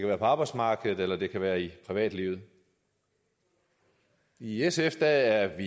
være på arbejdsmarkedet eller det kan være i privatlivet i sf er